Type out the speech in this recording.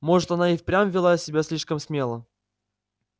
может она и впрямь вела себя слишком смело